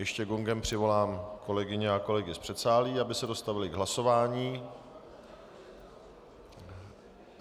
Ještě gongem přivolám kolegyně a kolegy z předsálí, aby se dostavili k hlasování.